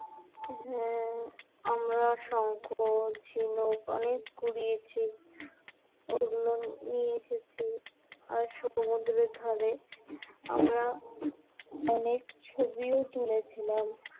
হ্যাঁ আমরা শঙ্খ ঝিনুক অনেক কুড়িয়েছি, আর ওগুলো নিয়ে এসেছি আর সমুদ্রের ধারে আমরা অনেক ছবি ও তুলেছিলাম